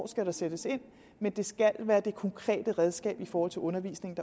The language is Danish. skal sættes ind men det skal være det konkrete redskab i forhold til undervisningen